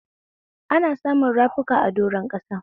Ana samun rafuka a doron ƙasa.